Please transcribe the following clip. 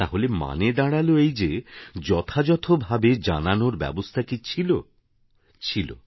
তাহলে মানে দাঁড়াল এই যে যথাযথভাবে জানানোর ব্যবস্থা কি ছিল ছিল